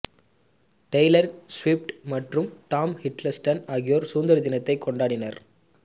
Taylor Swift மற்றும் Tom Hiddleston ஆகியோர் சுதந்திர தினத்தை கொண்டாடினர்